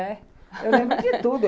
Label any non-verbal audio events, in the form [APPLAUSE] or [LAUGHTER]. É [LAUGHS] Eu lembro de tudo.